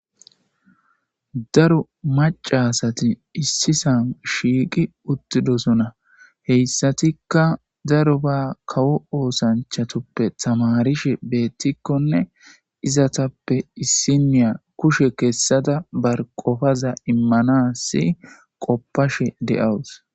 Daro macasati issisan shiiqi uttidosona heyssatikka daro ba kawo oosanchatoppe tamarishe beettikkonne izatappe issiniya kushe keessada bar qofaza immanasi qoppashe de7awus.